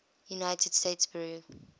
united states bureau